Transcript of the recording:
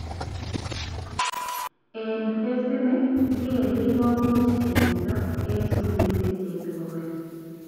Eng phasit ni, VLE komuch kendendo eng skulishek cheite 100